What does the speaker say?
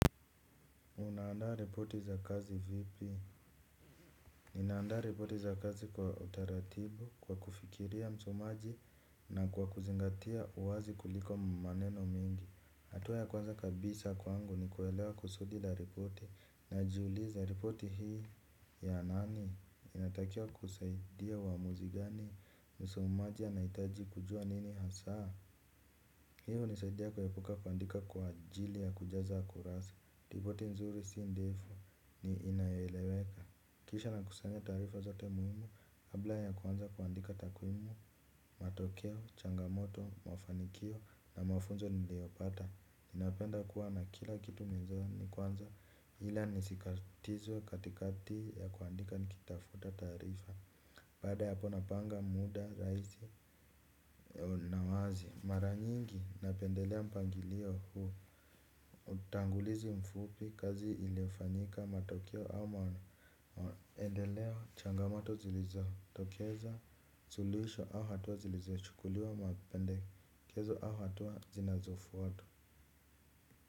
Unaanda reporti za kazi vipi? Ninaanda reporti za kazi kwa utaratibu, kwa kufikiria msomaji na kwa kuzingatia uwazi kuliko maneno mingi. Atua ya kwanza kabisa kwangu ni kuelewa kusudi la reporti na jiuliza reporti hii ya nani? Inatakiwa kusaidia wamuzi gani msomaji anaitaji kujua nini hasaa? Hiyo inasaidia kuepuka kuandika kwa ajili ya kujaza kurasa. Ripoti nzuri si ndifu ni inayoeweka. Kisha nakusanya taarifa zote muhimu kabla ya kwanza kuandika takwimu. Matokeo, changamoto, mafanikio na mafunzo niliopata. Ninapenda kuwa na kila kitu mwanzoni kwanza. Hila nisikatizwe katikati ya kuandika nikitafuta taarifa. Baada ya hapo napanga muda rahisi na wazi. Mara nyingi napendelea mpangilio huu utangulizi mfupi kazi ilifanyika matokeo au maendeleo changamato zilizo tokeza suluisho au hatuwa zilizo chukuliwa mapendekezo au hatuwa zinazofwata.